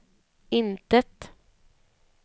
intet